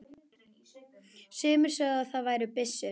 Sumir sögðu að það væri byssur.